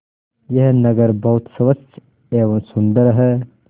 यह नगर बहुत स्वच्छ एवं सुंदर है